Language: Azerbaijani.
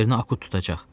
Onun yerinə Akut tutacaq.